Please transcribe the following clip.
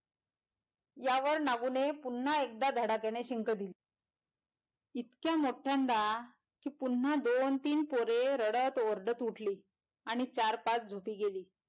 यावर नागून पुनः एगदा धडाक्याने शिंक दिली इतक्या मोठ्यांदा कि पुनः दोन तीन पोरे रडत ओरडत उठली आणि चार पाच झोपी गेली.